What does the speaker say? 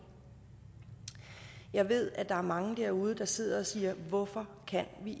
jeg ved at der er mange derude der sidder og siger hvorfor kan vi